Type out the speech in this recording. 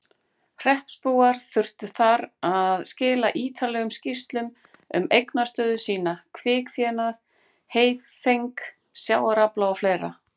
Hreppsbúar þurftu þar að skila ítarlegum skýrslum um eignastöðu sína, kvikfénað, heyfeng, sjávarafla og fleira.